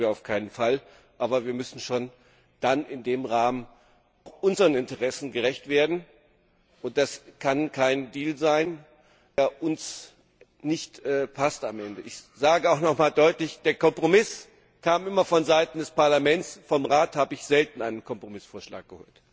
Das wollen wir auf keinen Fall. Aber wir müssen wirklich in dem Rahmen auch unseren Interessen gerecht werden, und es kann kein Deal sein, der uns am Ende nicht passt. Ich sage auch noch einmal deutlich Der Kompromiss kam bisher immer von Seiten des Parlaments, vom Rat habe ich selten einen Kompromissvorschlag gehört.